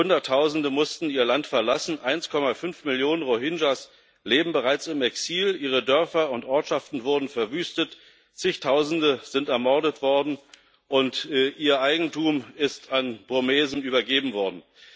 Hunderttausende mussten ihr Land verlassen, 1,5 Millionen Rohingya leben bereits im Exil, ihre Dörfer und Ortschaften wurden verwüstet, Zigtausende sind ermordet worden, und ihr Eigentum ist an Burmesen übergeben worden.